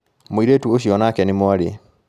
Mũirĩtu ũcio onake ni mwarĩ.